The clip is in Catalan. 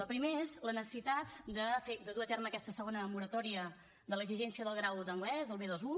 el primer és la necessitat de dur a terme aquesta segona moratòria de l’exigència del grau d’anglès del b21